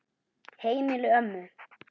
Heimili ömmu.